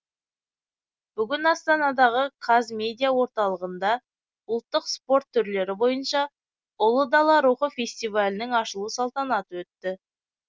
бүгін астанадағы қазмедиа орталығында ұлттық спорт түрлері бойынша ұлы дала рухы фестивалінің ашылу салтанаты өтті